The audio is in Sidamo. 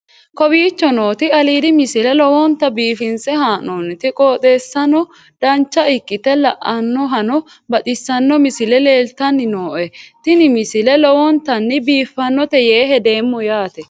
kowicho nooti aliidi misile lowonta biifinse haa'noonniti qooxeessano dancha ikkite la'annohano baxissanno misile leeltanni nooe ini misile lowonta biifffinnote yee hedeemmo yaate